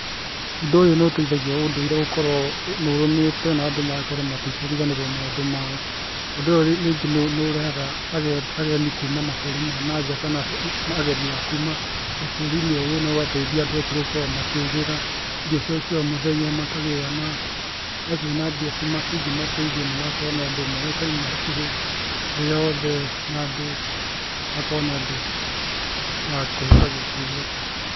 Ũndu ũyũ nĩ ũteithagia ũndũire gũkorwo ũrũmĩte na andũ magakorwo matikũriganĩrwo maũndũ mao. Ũndũ ũyũ rĩngĩ nĩ ũrehaga ageni kuma mabũrũri ma nanja kana ageni akuma bũrũri-inĩ ũyũ no ũgateithia andũ acio gukorwo makĩgĩra irio ciao cia omũthenya, makagia na kuona mbia cingimateithia na magakorwo nĩ andũ moĩkaine hakuhĩ thĩ yothe na andũ magakorwo nĩ andũ akũheka gĩtĩo.